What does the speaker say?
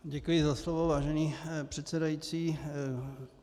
Děkuji za slovo, vážený předsedající.